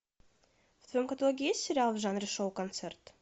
в твоем каталоге есть сериал в жанре шоу концерт